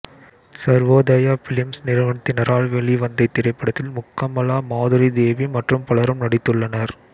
Sarvodaya films நிறுவனத்தினரால் வெளிவந்த இத்திரைப்படத்தில் முக்கமலா மாதுரி தேவி மற்றும் பலரும் நடித்துள்ளனர்